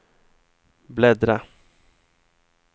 bläddra